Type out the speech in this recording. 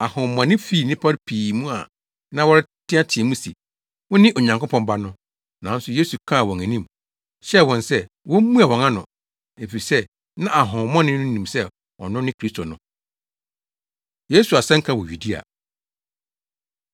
Ahohommɔne fii nnipa no pii mu a na wɔreteɛteɛ mu se, “Wone Onyankopɔn Ba no.” Nanso Yesu kaa wɔn anim, hyɛɛ wɔn sɛ wommua wɔn ano, efisɛ na ahonhommɔne no nim sɛ ɔno ne Kristo no. Yesu Asɛnka Wɔ Yudea